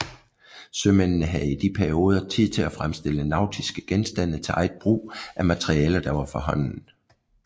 Sømændene havde i de perioder tid til at fremstille nautiske genstande til eget brug af materialer der var for hånden